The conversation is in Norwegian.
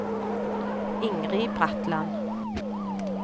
Ingrid Bratland